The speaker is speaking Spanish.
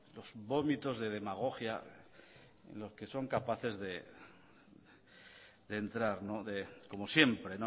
lo vómitos de demagogia en los que son capaces de entrar como siempre